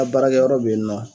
An baarakɛyɔrɔ be yen nɔ